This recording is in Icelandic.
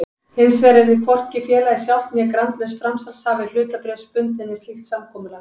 Hinsvegar yrði hvorki félagið sjálft né grandlaus framsalshafi hlutabréfs bundinn við slíkt samkomulag.